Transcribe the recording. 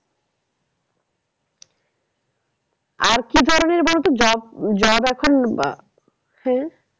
আর কি করা যায় বলতো job, job এখন আহ হ্যাঁ